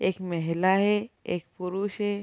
एक महिला है एक पुरुष है।